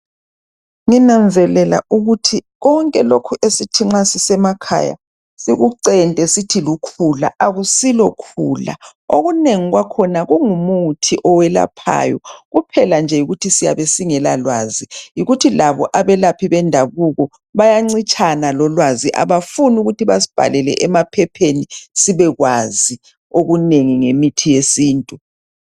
Nginanzelela ukuthi konke lokho esithi nxa sisemakhaya sikucente sithi lukhula, akusilokhula. Okunengi kwakhona kungumuthi owelaphayo, kuphela yikuthi siyabe siyabe singelalwazi. Yikuthi labo abelaphi bendabuko yayancitshana lolwazi, abafuni ukuthi basibhalale emaphepheni sibekwazi okunengi ngemithi yesintu.